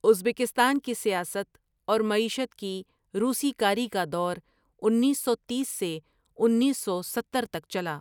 Uzbekistan کی سیاست اور مشیعت کی روسی کاری کا دور انیس سو تیس سے انیس سو ستہر تک چلا ۔